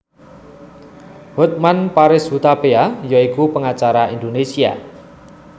Hotman Paris Hutapea ya iku pengacara Indonesia